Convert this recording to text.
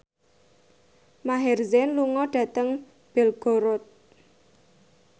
Maher Zein lunga dhateng Belgorod